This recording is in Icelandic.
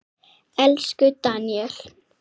Elsku Daníel.